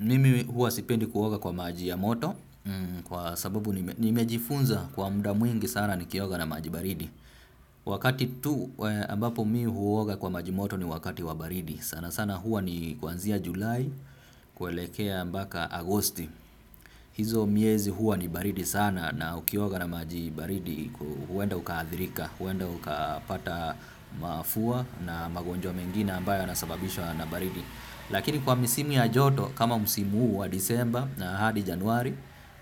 Mimi huwa sipendi kuoga kwa maji ya moto. Kwa sababu nimejifunza kwa muda mwingi sana nikioga na maji baridi. Wakati tu ambapo mimi huoga kwa maji moto ni wakati wa baridi sana sana huwa ni kuanzia julai, kuelekea mpaka agosti. Hizo miezi huwa ni baridi sana na ukiwoga na maji baridi. Huenda ukaathirika, huenda ukapata mafua na magonjwa mengine ambayo yanasababishwa na baridi. Lakini kwa misimu ya joto kama msimu huu wa disemba na hadi januari